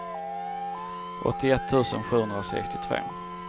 åttioett tusen sjuhundrasextiotvå